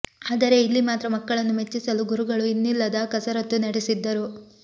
ಆದರೆ ಇಲ್ಲಿ ಮಾತ್ರ ಮಕ್ಕಳನ್ನು ಮೆಚ್ಚಿಸಲು ಗುರುಗಳು ಇನ್ನಿಲ್ಲದ ಕಸರತ್ತು ನಡೆಸಿದ್ದರು